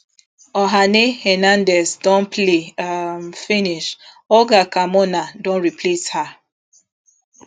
oihane hernndez don play um finish olga carmona don replace her